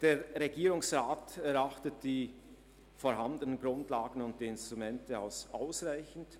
Der Regierungsrat erachtet die vorhandenen Grundlagen und Instrumente als ausreichend.